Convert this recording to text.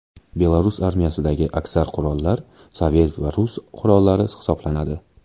Belarus armiyasidagi aksar qurollar sovet va rus qurollari hisoblanadi.